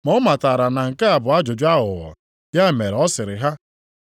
Ma ọ matara na nke a bụ ajụjụ aghụghọ, ya mere ọ sịrị ha,